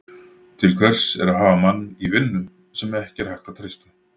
Til hvers er að hafa mann í vinnu, sem ekki er hægt að treysta?